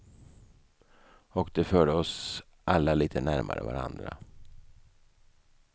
Och det förde oss alla lite närmare varandra.